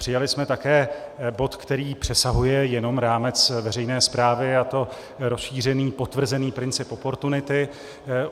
Přijali jsme také bod, který přesahuje jenom rámec veřejné správy, a to rozšířený potvrzený princip oportunity.